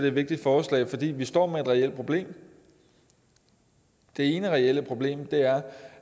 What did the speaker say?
et vigtigt forslag fordi vi står med et reelt problem det ene reelle problem er